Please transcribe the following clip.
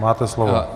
Máte slovo.